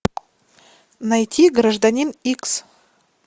найти гражданин икс